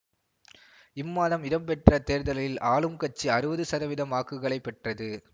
இம்மாதம் இடம்பெற்ற தேர்தலில் ஆளும் கட்சி அறுவது சதவிதம் வாக்குகளை பெற்றது